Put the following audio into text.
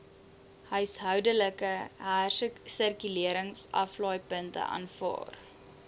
huishoudelike hersirkuleringsaflaaipunte aanvaar